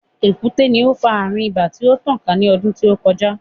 Èkúté ni ó fa àrùn ibà tí ó tàn ká ní ọdú tí ó kọjá.